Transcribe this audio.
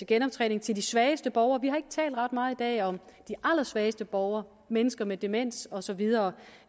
genoptræning til de svageste borgere vi har ikke talt ret meget i dag om de allersvageste borgere mennesker med demens og så videre